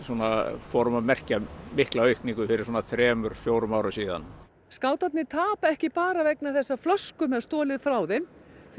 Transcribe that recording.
fórum að merkja mikla aukningu fyrir þremur til fjórum árum síðan skátarnir tapa ekki bara vegna þess að flöskum er stolið frá þeim því